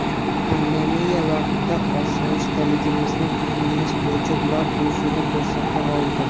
Pandemiya vaqtida osoyishtaligimizni ta’minlash bo‘yicha ular o‘zini ko‘rsata oldi.